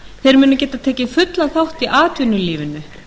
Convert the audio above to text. þeir munu geta tekið fullan þátt í atvinnulífinu